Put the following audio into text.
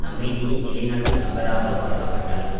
அமைதியை நிலைநாட்டும் நபராக பார்க்கப்பட்டார்